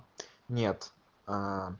нет